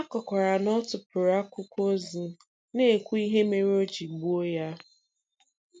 A kọkwara na ọ tụpụrụ akwụkwọ ozi, na-ekwu ihe mere o ji gbuo ya.